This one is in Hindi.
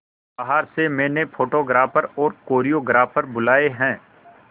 बाहर से मैंने फोटोग्राफर और कोरियोग्राफर बुलाये है